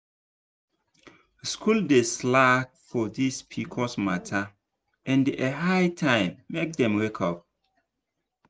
schools dey slack for this pcos matter and e high time make dem wake up.